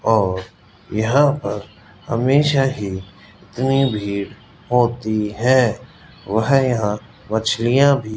और यहां पर हमेशा ही इतनी भीड़ होती है वह यहां मछलियां भी --